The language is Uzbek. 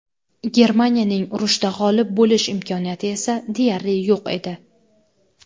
Germaniyaning urushda g‘olib bo‘lish imkoniyati esa deyarli yo‘q edi.